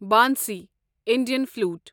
bansi Indian flute